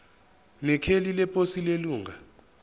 nekheli leposi lelunga